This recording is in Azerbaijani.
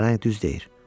Pələng düz deyir.